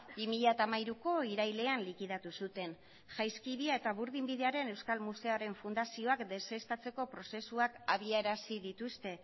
bi mila hamairuko irailean likidatu zuten jaizkibia eta burdinbidearen euskal museoaren fundazioak deuseztatzeko prozesuak abiarazi dituzte